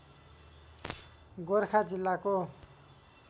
गोरखा जिल्लाको